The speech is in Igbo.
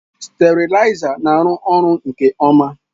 Steriliser na-arụ ọrụ nke ọma.